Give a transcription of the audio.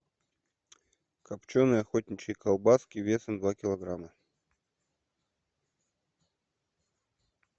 копченные охотничьи колбаски весом два килограмма